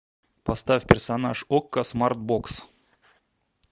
поставь персонаж окко смартбокс